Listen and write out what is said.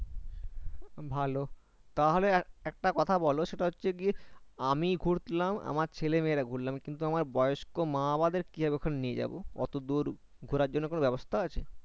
আমি ঘুরলাম আমার ছেলে-মেয়ে রা ঘুরলাম কিন্তু আমার বয়স্ক মা বাবাদের কি ভাবে ওখানে নিয়ে যাবো অটো দূর ওখানে ঘোড়ার জন্য কিছু বেবস্তা আছে?